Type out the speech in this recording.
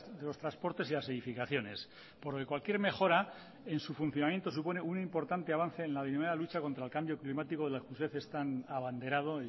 de los transportes y las edificaciones por lo que cualquier mejora en su funcionamiento supone un importante avance en la lucha contra el cambio climático de la que usted es tan abanderado